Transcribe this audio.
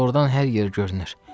Ordan hər yer görünür.